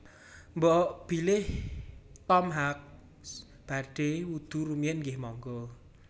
Mbok bilih Tom Hanks badhe wudhu rumiyin nggeh monggo